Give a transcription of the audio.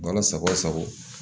Bana sago sago